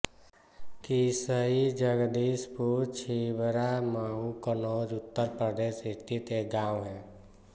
किसई जगदीशपुर छिबरामऊ कन्नौज उत्तर प्रदेश स्थित एक गाँव है